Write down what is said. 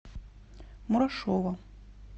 мурашова